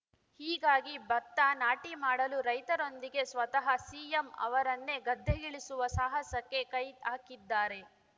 ಹೀಗಾಗಿ ಭತ್ತ ನಾಟಿ ಮಾಡಲು ರೈತರೊಂದಿಗೆ ಸ್ವತಃ ಸಿಎಂ ಅವರನ್ನೇ ಗದ್ದೆಗಿಳಿಸುವ ಸಾಹಸಕ್ಕೆ ಕೈಹಾಕಿದ್ದಾರೆ